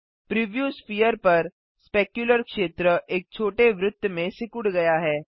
preview sphere पर specular क्षेत्र एक छोटे वृत्त में सिकुड़ गया है